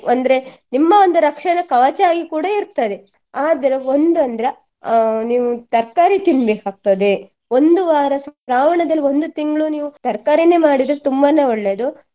ಅಂದ್ರೆ ನಿಮ್ಮ ಒಂದು ರಕ್ಷಣ ಕವಚವಾಗಿ ಕೂಡಾ ಇರ್ತದೆ ಆದ್ರೆ ಒಂದ್ ಅಂದ್ರೆ ಅಹ್ ನೀವು ತರ್ಕಾರಿ ತಿನ್ಬೇಕಾಗ್ತದೆ ಒಂದು ವಾರ ಶ್ರಾವಣದಲ್ಲಿ ಒಂದು ತಿಂಗ್ಳು ನೀವು ತರ್ಕಾರಿಯನ್ನೇ ಮಾಡಿದ್ರೆ ತುಂಬಾನೆ ಒಳ್ಳೆಯದು.